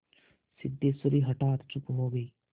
सिद्धेश्वरी हठात चुप हो गई